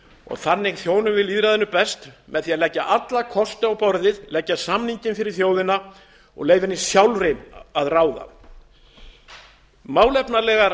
og þannig þjónum við lýðræðinu best með því að leggja alla kosti á borðið leggja samninginn fyrir þjóðina og leyfa henni sjálfri að ráða málefnalegar